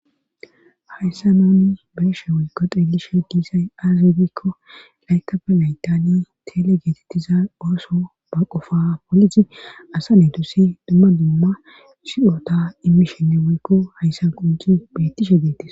hayssa nuni beeshe woykko xilishe diisay aaze giikko laykappe yaytaniya tele geetettiza ooso ba qofa politi asa ne dusi duma duma siyota immishenne woykko hayssan qonci beettishe dettis.